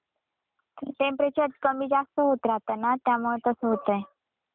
Temperature कमी जास्त होत राहत ना त्यामुळे तस होतंय.